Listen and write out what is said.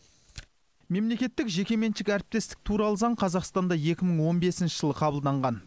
мемлекеттік жекеменшік әріптестік туралы заң қазақстанда екі мың он бесінші жылы қабылданған